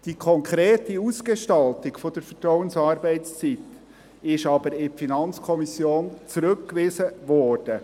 Die konkrete Ausgestaltung der Vertrauensarbeitszeit ist aber in die FiKo zurückgewiesen worden.